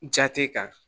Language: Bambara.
Ja tɛ kan